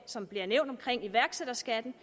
som bliver nævnt om iværksætterskatten